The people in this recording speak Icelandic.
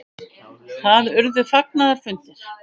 Það urðu fagnaðarfundir.